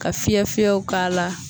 Ka fiyɛ fiyɛw k'a la